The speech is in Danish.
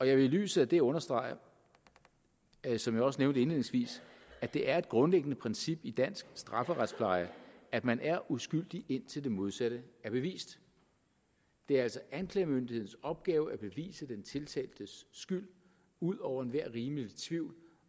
jeg vil i lyset af det understrege som jeg også nævnte indledningsvis at det er et grundlæggende princip i dansk strafferetspleje at man er uskyldig indtil det modsatte er bevist det er altså anklagemyndighedens opgave at bevise den tiltaltes skyld ud over enhver rimelig tvivl